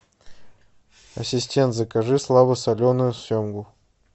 ассистент закажи слабосоленую семгу